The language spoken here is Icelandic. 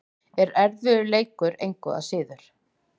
En erfiður leikur, engu að síður.